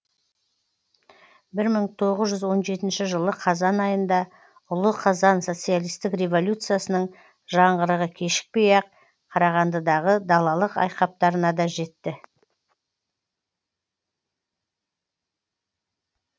бір мың тоғыз жүз он жетінші жылы қазан айында ұлы қазан социалистік революциясының жаңғырығы кешікпей ақ қарағандыдағы далалық айқаптарына да жетті